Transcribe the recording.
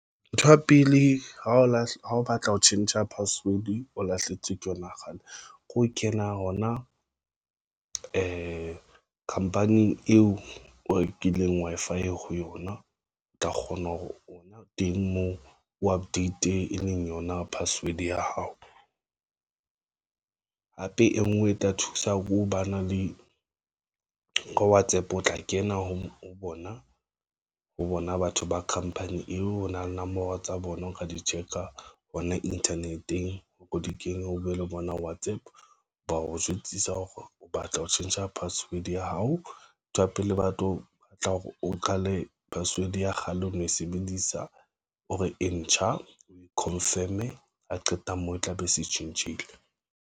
Ntho ya pele ha o lahla ha o batla ho tjhentjha password o lahlehetswe ke yona kgale ke ho kena hona company eo o rekileng Wi-Fi ho yona, o tla kgona hore hona teng moo o APP e leng yona password ya hao hape e ngwe e tla thusa ho ba na le ho WhatsApp. O tla kena ho bona ho bona batho ba company eo o nang nomoro tsa bona. O ka di check a hona internet-eng, o ko di kenywe o bue le bona WhatsApp. Ba o jwetsa hore o batla ho tjhentjha password I_D ya hao, ntho ya pele batlo batla hore o qale password ya kgale ho no e sebedisa hore e ntjha o confirm-e a qeta moo e tla be e se tjhentjhile.